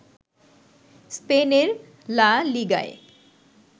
স্পেনের লা লিগায়